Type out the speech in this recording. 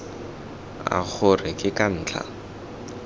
a gore ke ka ntlha